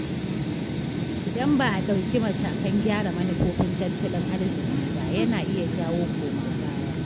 Idan ba a ɗauki matakan gyara manufofin tattalin arziki ba, yana iya jawo koma baya.